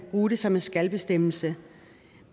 bruge det som en skal bestemmelse